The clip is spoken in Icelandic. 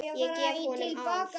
Ég gef honum ár.